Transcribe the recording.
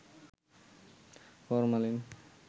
formalin